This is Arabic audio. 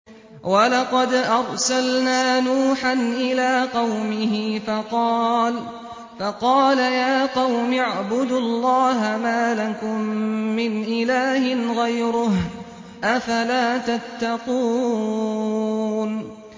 وَلَقَدْ أَرْسَلْنَا نُوحًا إِلَىٰ قَوْمِهِ فَقَالَ يَا قَوْمِ اعْبُدُوا اللَّهَ مَا لَكُم مِّنْ إِلَٰهٍ غَيْرُهُ ۖ أَفَلَا تَتَّقُونَ